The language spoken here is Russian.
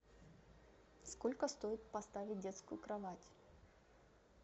сколько стоит поставить детскую кровать